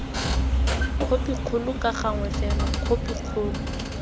khopikgolo ka gangwe fela khopikgolo